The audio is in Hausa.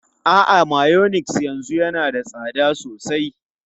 A'a, mayonnaise yanzu yana da tsada sosai.